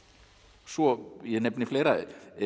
svo ég nefni fleira